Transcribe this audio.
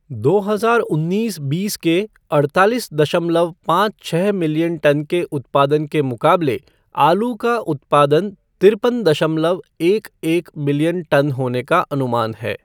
दो हजार उन्नीस बीस के अड़तालीस दशमलव पाँच छः मिलियन टन के उत्पादन के मुकाबले आलू का उत्पादन तिरपन दशमलव एक एक मिलियन टन होने का अनुमान है।